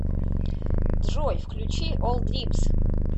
джой включи олл дримс